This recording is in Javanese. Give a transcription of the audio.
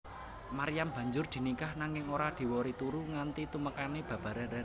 Maryam banjur diningkah nanging ora diwori turu nganti tumekané babaran